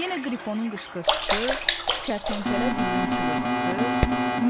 Yenə qrifonun qışqırtısı, kərtənkələ bilinçığırtısı,